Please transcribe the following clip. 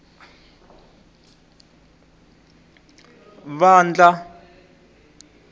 vandla